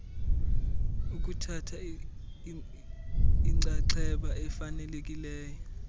ukuthatha inxaxheba efanelekileyo